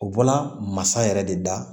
U bɔla masa yɛrɛ de da